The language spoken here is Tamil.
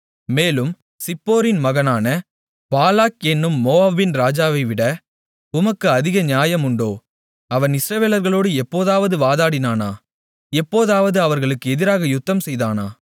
மேலும் சிப்போரின் மகனான பாலாக் என்னும் மோவாபின் ராஜாவைவிட உமக்கு அதிக நியாயம் உண்டோ அவன் இஸ்ரவேலர்களோடு எப்போதாவது வாதாடினானா எப்போதாவது அவர்களுக்கு எதிராக யுத்தம்செய்தானா